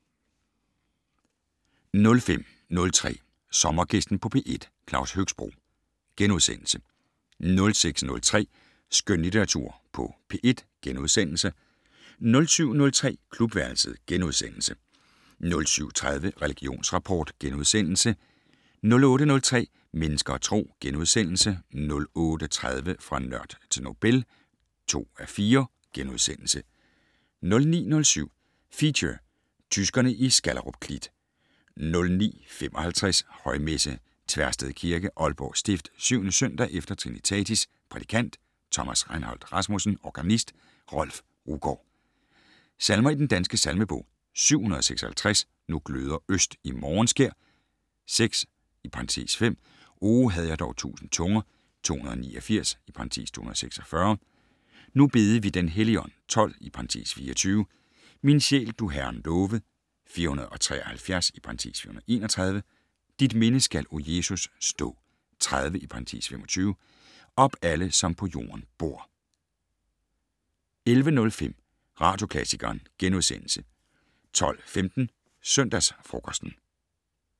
05:03: Sommergæsten på P1: Claus Høxbroe * 06:03: Skønlitteratur på P1 * 07:03: Klubværelset * 07:30: Religionsrapport * 08:03: Mennesker og Tro * 08:30: Fra nørd til Nobel (2:4)* 09:07: Feature: Tyskerne i Skallerup Klit 09:55: Højmesse - Tversted Kirke, Aalborg stift. 7. søndag efter trinitatis. Prædikant: Thomas Reinholdt Rasmussen. Organist: Rolf Ruggaard. Salmer i Den Danske Salmebog: 756 "Nu gløder øst i morgenskær". 6 (5) "O, havde jeg dog tusind tunger". 289 (246) "Nu bede vi den Helligånd". 12 (24) "Min sjæl, du Herren love". 473 (431) "Dit minde skal, O Jesus, stå". 30 (25) "Op, alle, som på jorden bor". 11:05: Radioklassikeren * 12:15: Søndagsfrokosten